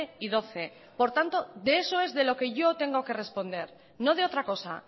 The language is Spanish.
y doce por tanto de eso es de lo que yo tengo que responder no de otra cosa